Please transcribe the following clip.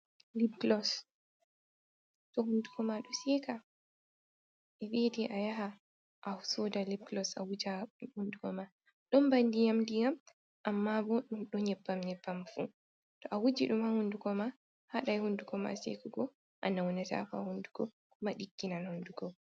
Libkulos, to hundukoma ɗo seeka, be viete ayaha asooda libkulos awuja ha hundugo ma. don ba ndiyam-ndiyam. Amma bo don nyebbam nyebbam fu. To awuji dum ha hundukoma ha dai hundukoma shekugo, anaunata ko ha hundugo, koma digginal hundugo.